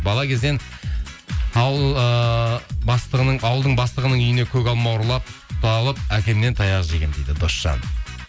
бала кезден ауылдың бастығының үйіне көк алма ұрлап ұсталып әкемнен таяқ жегенмін дейді досжан